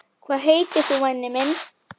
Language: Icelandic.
Hvað heitir þú væni minn?